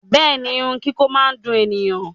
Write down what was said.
Bẹẹni, irun kiko máa n dùn ènìyàn.